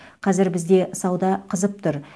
қазір бізде сауда қызып тұр